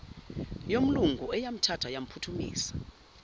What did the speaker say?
yomlungu eyamthatha yamphuthumisa